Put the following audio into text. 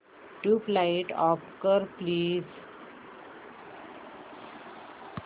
tubelight off कर please